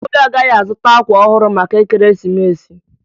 Obi agaghị azụta akwa ọhụrụ maka ekeresimesi